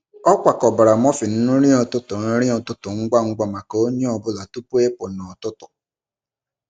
Ọ kwakọbara muffin nri ụtụtụ nri ụtụtụ ngwa ngwa maka onye ọ bụla tupu ịpụ n’ụtụtụ.